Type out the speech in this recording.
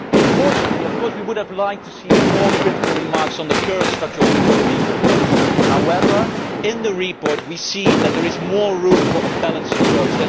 Fortunately, of course, we would have liked to see more critical remarks on the current structural reforms being proposed. However, in the report we see that there is more room for a balanced approach.